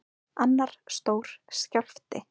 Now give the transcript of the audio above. Annar stór skjálfti